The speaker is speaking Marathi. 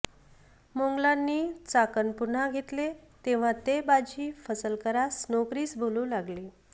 मोंगलांनी चाकण पुनः घेतलें तेव्हां ते बाजी फसलकरास नोकरीस बोलवूं लागले